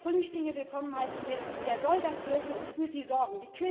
ersetzen. Wer Flüchtlinge willkommen heißen will, der soll das dürfen und für sie